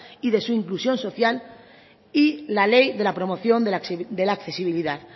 y de su inclusión social y la ley de la promoción de la accesibilidad